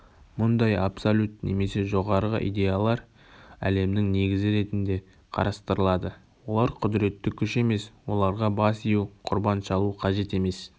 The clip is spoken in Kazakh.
мұндай абсолют немесе жоғарғы идеялар әлемнің негізі ретінде қарастырылады олар құдіретті күш емес оларға бас ию құрбан шалу қажет емес